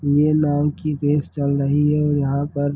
ये नाव की रेस चल रही है और यहाँ पर --